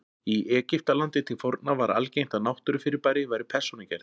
Í Egyptalandi til forna var algengt að náttúrufyrirbæri væru persónugerð.